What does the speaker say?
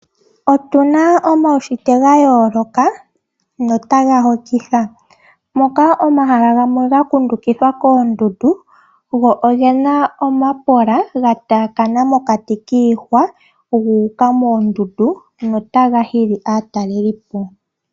Otuna omaushitwe ga yooloka, notaga hokitha moka omahala gamwe ga kundukidhwa koondundu go ogena omapola ga taakana mokati kiihwa gu uka moondundu notaga hili aatalelipo.